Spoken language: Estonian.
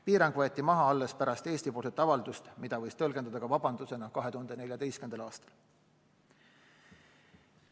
Piirang võeti maha alles pärast Eesti-poolset avaldust, mida võis tõlgendada ka vabandusena, 2014. aastal.